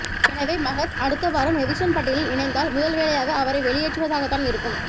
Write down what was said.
எனவே மகத் அடுத்த வாரம் எவிக்சன் பட்டியலில் இணைந்தால் முதல் வேலையாக அவரை வெளியேற்றுவதாகத்தான் இருக்கும்